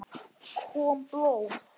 Kom blóð?